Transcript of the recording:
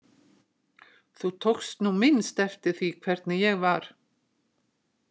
Þú tókst nú minnst eftir því hvernig ég var.